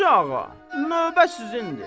Hacı Ağa, növbə sizindir.